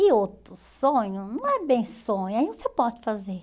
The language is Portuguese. E outro sonho, não é bem sonho, aí você pode fazer.